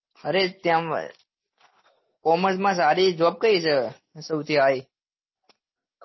અરે તેમ commerce માં સારી job કઈ છે સૌથી high